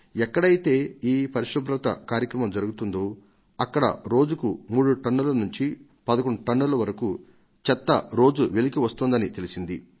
ఎక్కడైతే ఈ పరిశుభ్రత కార్యక్రమం జరుగుతుందో అక్కడ రోజుకు 3 టన్నుల నుంచి 11 టన్నుల వరకు చెత్త వెలికి వస్తోందని తెలిసింది